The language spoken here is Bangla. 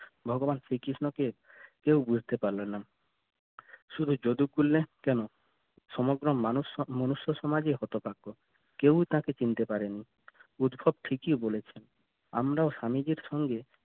ভগবান শ্রীকৃষ্ণকে কেউ বুঝতে পারল না শুধু যদু কুল্লে কেন সমগ্র মানুষ মনুষ্য সামাজই হতভাগ্য কেউ তাকে চিনতে পারেনি উদ্ভব ঠিকই বলেছে, আমরাও স্বামীজির সঙ্গে